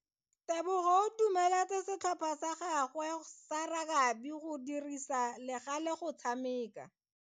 Tebogo o dumeletse setlhopha sa gagwe sa rakabi go dirisa le gale go tshameka.